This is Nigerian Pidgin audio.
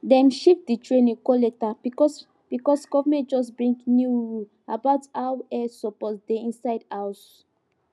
dem shift the training go later because because government just bring new rule about how air suppose dey inside house